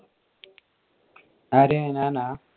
ആര് ഞാൻ ആ?